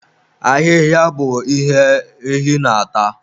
Ahịhịa bụ ihe ehi na-ata.